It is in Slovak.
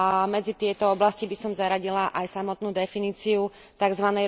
Medzi tieto oblasti by som zaradila aj samotnú definíciu tzv.